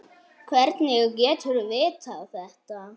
Hvernig getur þú vitað þetta?